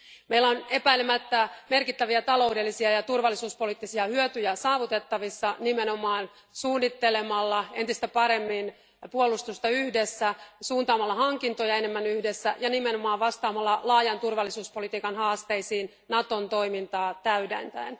Voimme saavuttaa epäilemättä merkittäviä taloudellisia ja turvallisuuspoliittisia hyötyjä nimenomaan suunnittelemalla entistä paremmin puolustusta yhdessä, suuntaamalla hankintoja enemmän yhdessä ja vastaamalla laajan turvallisuuspolitiikan haasteisiin Naton toimintaa täydentäen.